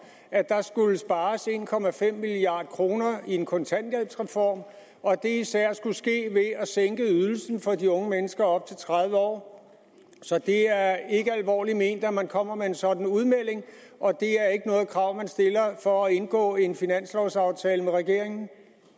at der skulle spares en milliard kroner i en kontanthjælpsreform og at det især skulle ske ved at sænke ydelsen for de unge mennesker op til tredive år så det er ikke alvorligt ment når man kommer med en sådan udmelding og det er ikke noget krav man stiller for at indgå en finanslovaftale med regeringen